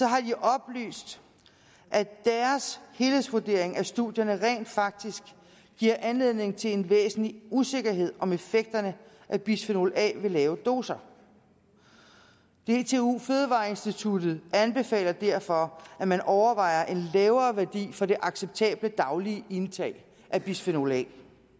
har de oplyst at deres helhedsvurdering af studierne rent faktisk giver anledning til en væsentlig usikkerhed om effekterne af bisfenol a ved lave doser dtu fødevareinstituttet anbefaler derfor at man overvejer en lavere værdi for det acceptable daglige indtag af bisfenol a